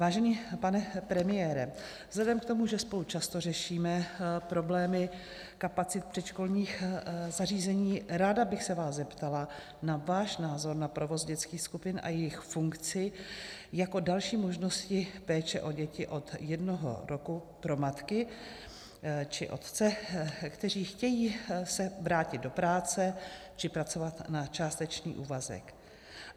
Vážený pane premiére, vzhledem k tomu, že spolu často řešíme problémy kapacit předškolních zařízení, ráda bych se vás zeptala na váš názor na provoz dětských skupin a jejich funkci jako další možnosti péče o děti od jednoho roku pro matky či otce, kteří chtějí se vrátit do práce či pracovat na částečný úvazek.